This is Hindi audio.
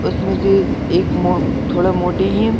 उसमें से एक मो थोड़ा मोटे हैं।